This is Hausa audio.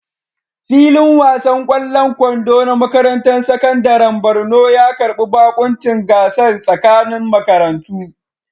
Filin wasan ƙwallon kwando na makarantar sakandaren Borno ya karbi baƙuncin gasar tsakanin makarantu.